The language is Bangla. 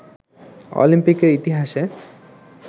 অলিম্পিকের ইতিহাসে